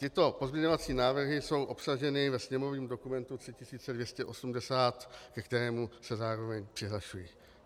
Tyto pozměňovací návrhy jsou obsaženy ve sněmovním dokumentu 3280, ke kterému se zároveň přihlašuji.